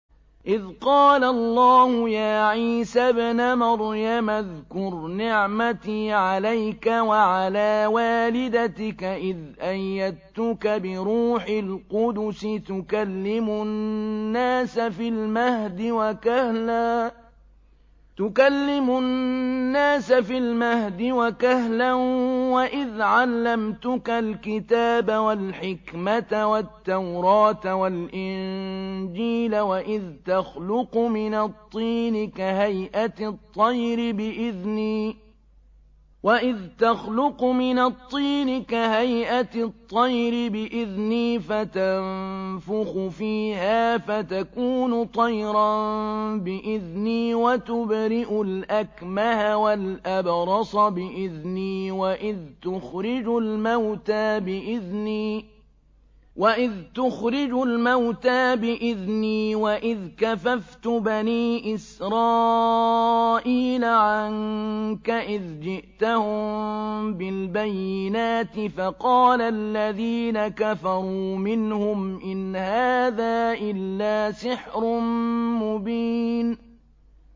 إِذْ قَالَ اللَّهُ يَا عِيسَى ابْنَ مَرْيَمَ اذْكُرْ نِعْمَتِي عَلَيْكَ وَعَلَىٰ وَالِدَتِكَ إِذْ أَيَّدتُّكَ بِرُوحِ الْقُدُسِ تُكَلِّمُ النَّاسَ فِي الْمَهْدِ وَكَهْلًا ۖ وَإِذْ عَلَّمْتُكَ الْكِتَابَ وَالْحِكْمَةَ وَالتَّوْرَاةَ وَالْإِنجِيلَ ۖ وَإِذْ تَخْلُقُ مِنَ الطِّينِ كَهَيْئَةِ الطَّيْرِ بِإِذْنِي فَتَنفُخُ فِيهَا فَتَكُونُ طَيْرًا بِإِذْنِي ۖ وَتُبْرِئُ الْأَكْمَهَ وَالْأَبْرَصَ بِإِذْنِي ۖ وَإِذْ تُخْرِجُ الْمَوْتَىٰ بِإِذْنِي ۖ وَإِذْ كَفَفْتُ بَنِي إِسْرَائِيلَ عَنكَ إِذْ جِئْتَهُم بِالْبَيِّنَاتِ فَقَالَ الَّذِينَ كَفَرُوا مِنْهُمْ إِنْ هَٰذَا إِلَّا سِحْرٌ مُّبِينٌ